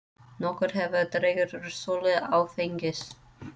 Nokkuð hefur dregið úr sölu áfengis